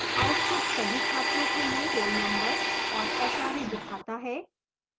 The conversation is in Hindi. output सभी छात्रों के लिए roll number और hra दिखाता है